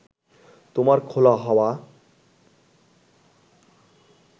তোমার খোলা হাওয়া